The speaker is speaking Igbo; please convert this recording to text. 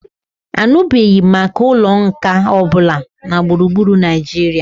Anụbeghị m maka ụlọ nkà ọ bụla na gburugburu Naijiria